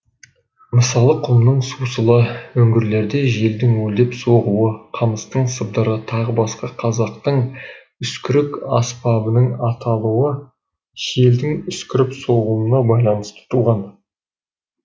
мысалы құмның сусылы үңгірлерде желдің уілдеп соғуы қамыстың сыбдыры т б қазақтың үскірік аспабының аталуы желдің үскіріп соғуына байланысты туған